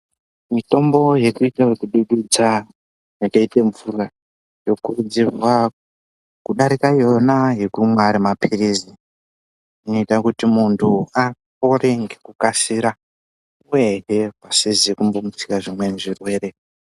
Mitombo yekuite yenodududza yakaite mvura yokuridzirwa kudarikona yona yekunwa ari mapirizi inoita kuti muntu apore nelukasika uyehe pasizi kumbomutse zvimweni zvirwere.